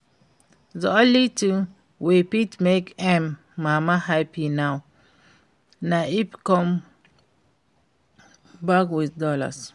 The only thing wey fit make im mama happy now na if im come back with dollars